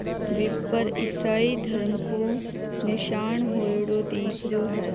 बी पर ईसाही धर्म को निशान होयोड़ो दिख रहियो है।